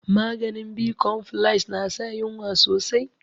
Maganin bicompfiles na sa yunwa sosai